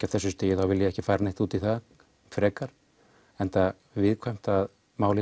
á þessu stigi þá vil ég ekki fara neitt út í það frekar enda viðkvæmt að málið